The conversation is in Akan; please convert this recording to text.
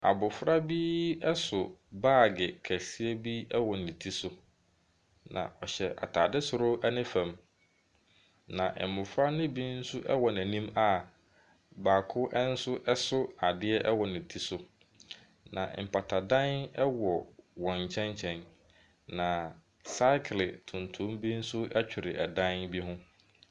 Abɔfra bi so baage kɛseɛ bi wɔ ne ti so. Na ɔhyɛ adeɛ soro ne fam. Na mmɔfra no bi nso wɔ n'anim a baako nso so adeɛ wɔ ne ti so. Na mpatadan wɔ wɔn nkyɛn nkyɛn, na sakere tuntum bi nso twere dan bi ho.